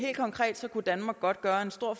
konkret kunne danmark godt gøre en stor